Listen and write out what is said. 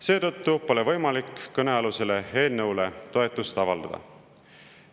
Seetõttu pole võimalik kõnealusele eelnõule toetust avaldada.